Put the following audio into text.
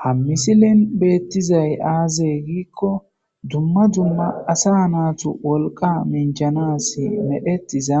ha misilin beettizay aazey giikko dumma dumma asa naatu wolqa minchanas medhetiza